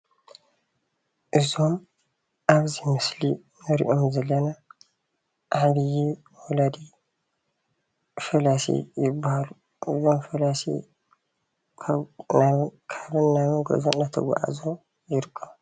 እዞም ኣብዚ ምስሊ እንሪኦም ዘለና ዓብዩ ወላዲ ፈላሲ ይበሃሉ። እዞም ፈላሲ ካብን ናብን ጉዕዞኦም እናተጓዓዓዙ ይርከቡ።